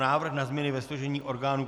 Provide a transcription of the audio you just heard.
Návrh na změny ve složení orgánů